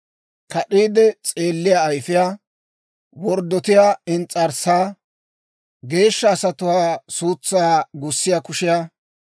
kad'iide s'eelliyaa ayifiyaa, Worddotiyaa ins's'arssaa, geeshsha asatuwaa suutsaa gussiyaa kushiyaa,